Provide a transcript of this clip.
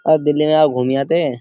औ दिल्ली में आ घूम आते --